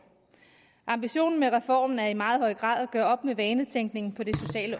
ambitionen med reformen er i meget høj grad at gøre op med vanetænkningen på det